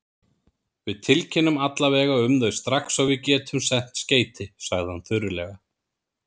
Við tilkynnum alla vega um þau strax og við getum sent skeyti, sagði hann þurrlega.